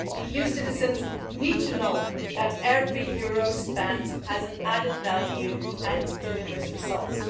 EU citizens need to know that every euro spent has an added value and delivers results.